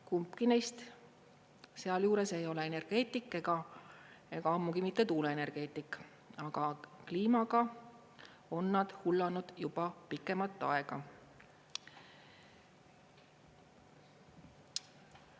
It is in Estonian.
Kumbki neist sealjuures ei ole energeetik ega ammugi mitte tuuleenergeetik, aga kliimaga on nad hullanud juba pikemat aega.